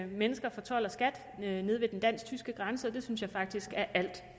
mennesker fra told og skat nede ved den dansk tyske grænse og det synes jeg faktisk er alt